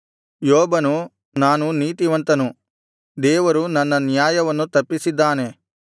ಯೋಬನು ನಾನು ನೀತಿವಂತನು ದೇವರು ನನ್ನ ನ್ಯಾಯವನ್ನು ತಪ್ಪಿಸಿದ್ದಾನೆ